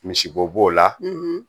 Misibo b'o la